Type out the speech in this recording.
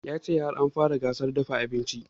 Ya ce har an fara gasar dafa abinci